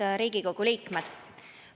Head Riigikogu liikmed!